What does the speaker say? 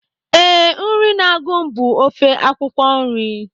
Ee, nri na-agụ m bụ ofe akwụkwọ nri